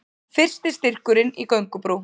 Fyrsti styrkurinn í göngubrú